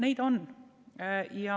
Neid on.